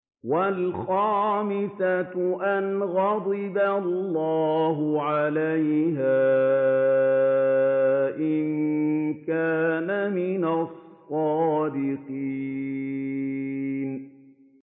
وَالْخَامِسَةَ أَنَّ غَضَبَ اللَّهِ عَلَيْهَا إِن كَانَ مِنَ الصَّادِقِينَ